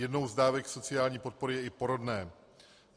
Jednou z dávek sociální podpory je i porodné.